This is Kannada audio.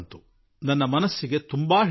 ನನ್ನ ಮನಸ್ಸನ್ನು ಮುಟ್ಟಿತು